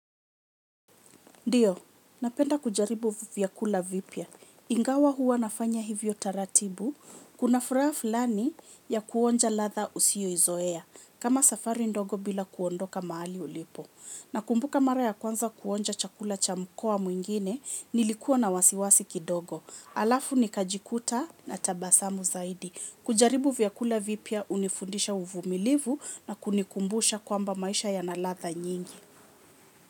Ndiyo, napenda kujaribu vyakula vipya. Ingawa huwa nafanya hivyo taratibu. Kuna furaha fulani ya kuonja ladha usioizoea. Kama safari ndogo bila kuondoka mahali ulipo. Nakumbuka mara ya kwanza kuonja chakula cha mkoa mwingine, nilikuwa na wasiwasi kidogo. Alafu ni kajikuta na tabasamu zaidi. Kujaribu vyakula vipya hunifundisha uvumilivu na kunikumbusha kwamba maisha ya na ladha nyingi.